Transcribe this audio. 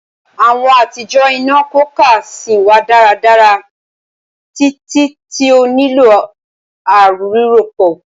Awọn atijọ ina cooker sìn wa daradara titi ti o nilo a rirọpo.